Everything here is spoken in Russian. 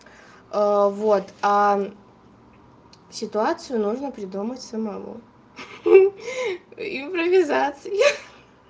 а вот а ситуацию нужно придумать самому ха импровизация